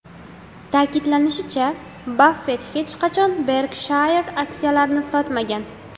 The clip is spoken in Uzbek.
Ta’kidlanishicha, Baffet hech qachon Berkshire aksiyalarini sotmagan.